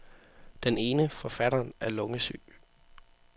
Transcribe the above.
Den ene, forfatteren, er lungesyg.